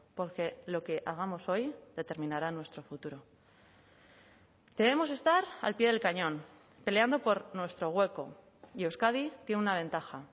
porque lo que hagamos hoy determinará nuestro futuro debemos estar al pie del cañón peleando por nuestro hueco y euskadi tiene una ventaja